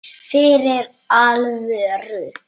Fyrir alvöru.